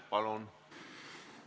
Palun!